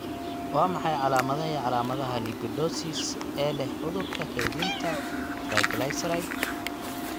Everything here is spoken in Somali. Waa maxay calaamadaha iyo calaamadaha Lipidosis ee leh cudurka kaydinta triglyceride?